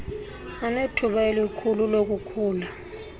anethuba elikhulu lokukhula